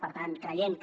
per tant creiem que